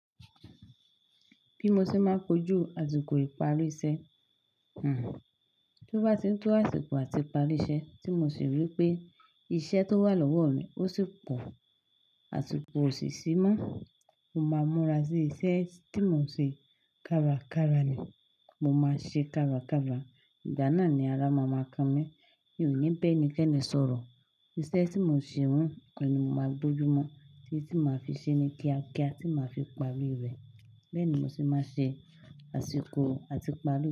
Bí mo ṣe máa ń kojú àsìkò ìparí iṣẹ́, tí ó bá ti ń tó àsìkò àti parí iṣẹ́ tí mo sì rí i pé iṣẹ́ tó wà lọ́wọ́ mi ò sì pọ̀, àsìkò ò sì ṣí mọ́, mo máa múra sí iṣẹ́ tí mo ń ṣe kàràkàrà ni mo máa ṣe kàràkàrà. Ìgbà náà ni ara máa máa kàn mí, mi ò ní bẹ́ni kẹ́ni sọ̀rọ̀. Iṣẹ́ tí mo ń ṣe hun kan ni mo máa gbojú mọ́, títí máa fi ṣe ní kíá kíá, tí máa fi parí rẹ̀. Bẹẹ ni mo se ma ṣe asiko ati ipari.